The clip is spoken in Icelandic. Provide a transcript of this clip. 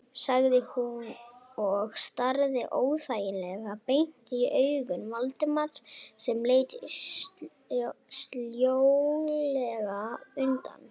sagði hún og starði óþægilega beint í augu Valdimars sem leit sljólega undan.